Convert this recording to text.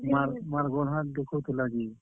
ମାଁର୍ ଗୋଡ୍ ହାତ୍ ଦୁଖଉ ଥିଲା ଯେ।